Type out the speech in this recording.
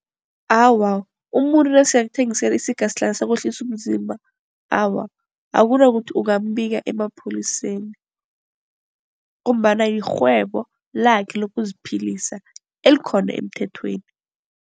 Awa, umuntu nasele akuthengisele isingasihlahla sokwehlisa umzimba. Awa, akunakuthi ungambika emapholiseni ngombana yirhwebo lakhe lokuziphilisa elikhona emthethweni.